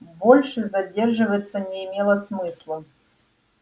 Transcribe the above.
больше задерживаться не имело смысла